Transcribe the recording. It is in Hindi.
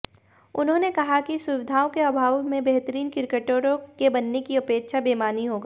उन्होंने कहा कि सुविधाओं के अभाव में बेहतरीन क्रिकेटरों के बनने की अपेक्षा बेमानी होगा